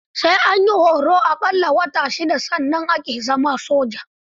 Sai an yi horon a ƙalla wata shida sannan ake zama soja.